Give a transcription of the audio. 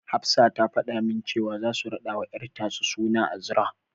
Hafsa ta fada min cewa zasu raɗawa ƴar tasu suna Azra.